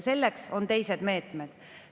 Selleks on teised meetmed.